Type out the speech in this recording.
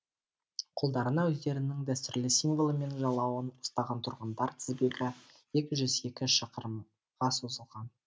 қолдарына өздерінің дәстүрлі символы мен жалауын ұстаған тұрғындар тізбегі екі жүз екі шақырымға созылған